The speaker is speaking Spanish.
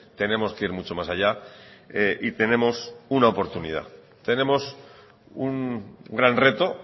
tenemos que ir mucho más allá y tenemos una oportunidad tenemos un gran reto